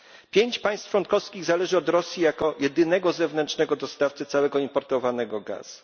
Pięć państw członkowskich zależy od Rosji jako jedynego zewnętrznego dostawcy całego importowanego gazu.